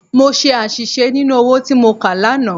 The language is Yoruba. Mo ṣe àṣìṣe nínú owó tí mo kà lánàá.